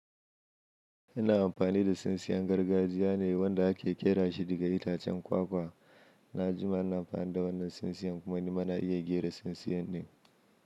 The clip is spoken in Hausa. Ina amfani da tsintsiyan gargajiya ne wanda ake ƙera shi daga itacen kwakwa. Na jima ina amfani da wannan tsintsiyan kuma ni ma na iya ƙera tsintsiyan din.